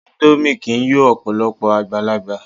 Índómì kìí yọ Ọ̀pọ̀lọ́pọ̀ àgbàlagbà